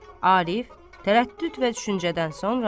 Arif, tərəddüd və düşüncədən sonra.